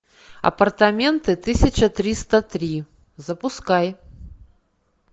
апартаменты тысяча триста три запускай